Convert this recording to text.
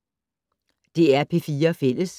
DR P4 Fælles